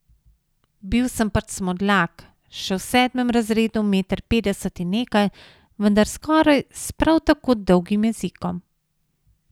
Bil sem pač Smodlak, še v sedmem razredu meter petdeset in nekaj, vendar skoraj s prav tako dolgim jezikom.